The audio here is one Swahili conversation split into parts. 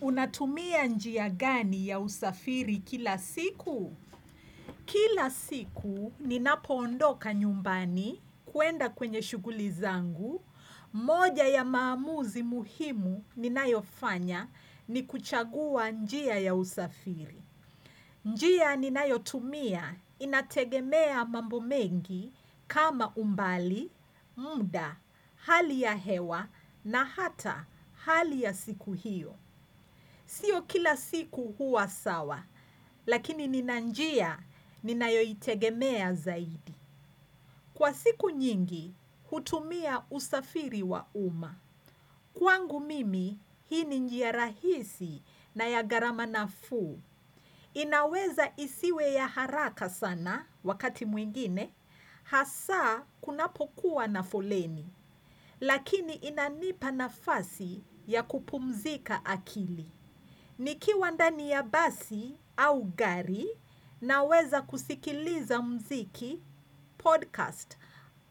Unatumia njia gani ya usafiri kila siku? Kila siku, ninapoondoka nyumbani kuenda kwenye shuguli zangu. Moja ya maamuzi muhimu ninayofanya ni kuchagua njia ya usafiri. Njia ninayotumia, inategemea mambo mengi kama umbali, muda, hali ya hewa na hata hali ya siku hiyo. Sio kila siku huwa sawa, lakini ninanjia ninayo itegemea zaidi. Kwa siku nyingi, hutumia usafiri wa umma. Kwangu mimi, hii ni njia rahisi na ya garama nafuu. Inaweza isiwe ya haraka sana, wakati mwingine, hasa kunapokuwa na foleni. Lakini inanipa nafasi ya kupumzika akili. Nikiwa ndani ya basi au gari naweza kusikiliza mziki, podcast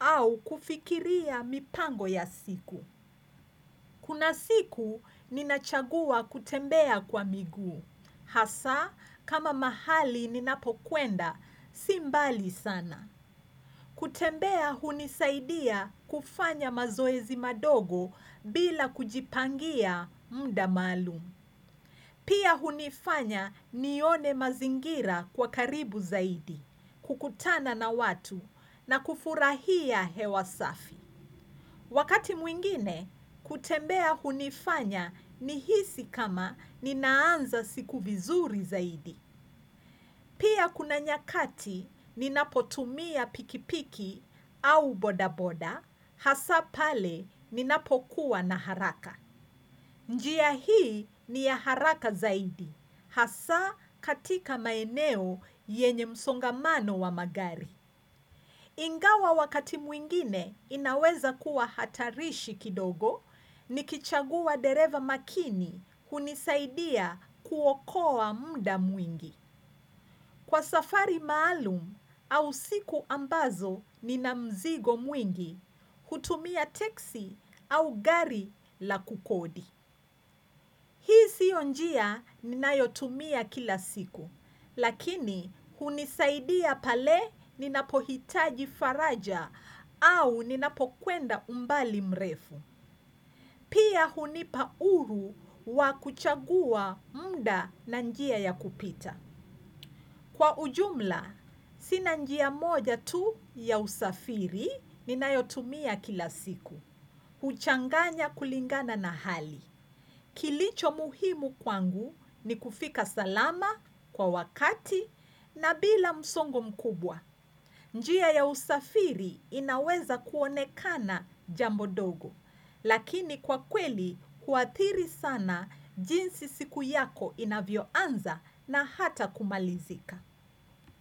au kufikiria mipango ya siku. Kuna siku, ninachagua kutembea kwa miguu. Hasa, kama mahali ninapokwenda, simbali sana. Kutembea hunisaidia kufanya mazoezi madogo bila kujipangia muda maalumu. Pia hunifanya nione mazingira kwa karibu zaidi, kukutana na watu na kufurahia hewa safi. Wakati mwingine, kutembea hunifanya nihisi kama ninaanza siku vizuri zaidi. Pia kuna nyakati ninapotumia pikipiki au bodaboda, hasa pale ninapokuwa na haraka. Njia hii ni ya haraka zaidi, hasa katika maeneo yenye msongamano wa magari. Ingawa wakati mwingine inaweza kuwa hatarishi kidogo, ni kichagua dereva makini kunisaidia kuokoa muda mwingi. Kwa safari maalum au siku ambazo nina mzigo mwingi, hutumia teksi au gari la kukodi. Hii sio njia ninayotumia kila siku, lakini hunisaidia pale ninapohitaji faraja au ninapokwenda umbali mrefu. Pia hunipa uru wa kuchagua munda na njia ya kupita. Kwa ujumla, sina njia moja tu ya usafiri ninayotumia kila siku. Uchanganya kulingana na hali. Kilicho muhimu kwangu ni kufika salama kwa wakati na bila msongo mkubwa. Njia ya usafiri inaweza kuonekana jambo dogo. Lakini kwa kweli, huathiri sana jinsi siku yako inavyoanza na hata kumalizika.